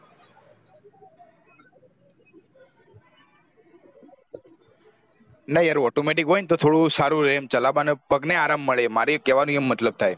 ના યાર automatic હોય ને તો થોડું સારું રહે ચાલવા માં પગને આરામ મળે મારું કેવા માં એ મતલબ થાય